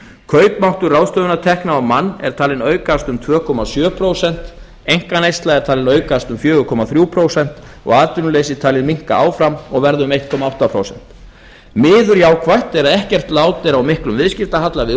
kaupmáttur ráðstöfunartekna á mann er talinn aukast um tvö komma sjö prósent einkaneysla er talin aukast um fjóra komma þrjú prósent og atvinnuleysi talið minnka áfram og verða um einn komma átta prósent miður jákvætt er að ekkert lát er á miklum viðskiptahalla við